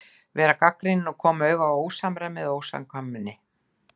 Vera gagnrýnin og koma auga á ósamræmi eða ósamkvæmni.